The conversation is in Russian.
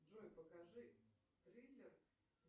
джой покажи триллер